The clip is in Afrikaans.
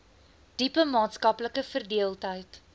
diepe maatskaplike verdeeldheid